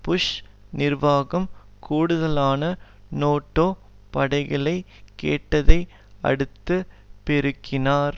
push நிர்வாகம் கூடுதலான NATO படைகளை கேட்டதை அடுத்து பெருக்கினார்